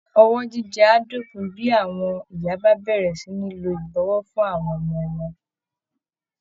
Ọwọ́ jíjẹ á dópin bí àwọn ìyá bá bẹ̀rẹ̀ sí ní lo ìbọwọ́ fún àwọn ọmọ wọn